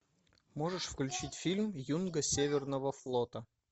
можешь включить фильм юнга северного флота